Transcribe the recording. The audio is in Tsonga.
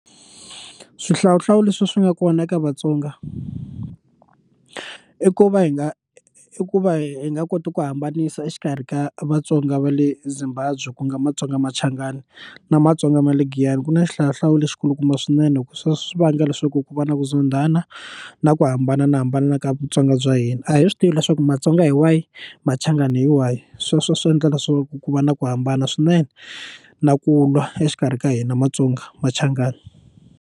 Swihlawuhlawu leswi swi nga kona eka vatsonga i ku va hi nga i ku va hi nga koti ku hambanisa exikarhi ka vatsonga va le Zimbabwe ku nga matsonga machangani na matsonga ma le giyani ku na xihlawuhlawu lexi kulukumba swinene loko swi vanga leswaku ku va na ku zondhana na ku hambana na hambana na ka vutsonga bya hina a hi swi tivi leswaku matsonga hi wahi machangani hi wahi sweswo swi endla leswaku ku va na ku hambana swinene na ku lwa exikarhi ka hina matsonga machangani.